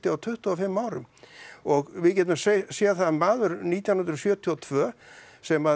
á tuttugu og fimm árum og við getum séð það að maður nítján hundruð sjötíu og tvö sem